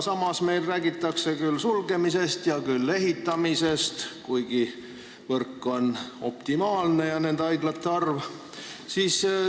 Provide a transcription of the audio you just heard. Ometi meil räägitakse küll haiglate sulgemisest, küll ehitamisest, kuigi võrk ja haiglate arv on justkui optimaalne.